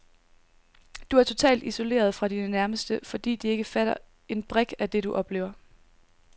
Du er totalt isoleret fra dine nærmeste, fordi de ikke fatter en brik af det, du oplever.